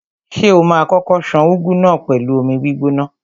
Ṣé o ma kókó ṣan úgú náà pẹ̀lú omi gbígbóná?